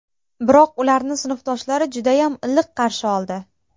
Biroq, ularni sinfdoshlari judayam iliq qarshi oldi.